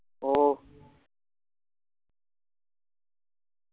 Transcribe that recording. ഓഹ്